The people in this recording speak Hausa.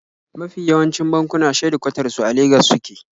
Mafi yawancin bankuna shedikwatar su a Legas suke